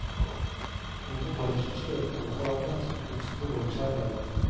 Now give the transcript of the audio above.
To modeller som støter mot hverandre, men som kunsten beveger seg imellom.